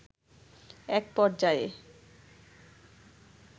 একপর্যায়ে